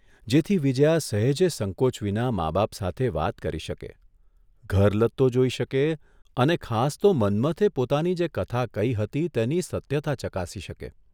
જેથી વિજયા સહેજે સંકોચ વિના મા બાપ સાથે વાત કરી શકે, ઘર લત્તો જોઇ શકે અને ખાસ તો મન્મથે પોાતની જે કથા કહી હતી તેની સત્યતા ચકાસી શકે.